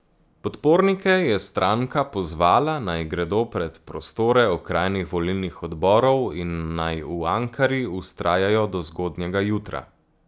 Podpornike je stranka pozvala, naj gredo pred prostore okrajnih volilnih odborov in naj v Ankari vztrajajo do zgodnjega jutra.